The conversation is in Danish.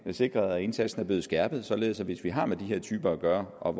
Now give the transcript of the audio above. sikret at indsatsen er blevet skærpet således at politiet hvis vi har med de her typer at gøre og